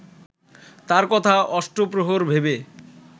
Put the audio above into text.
তার কথা অষ্টপ্রহর ভেবে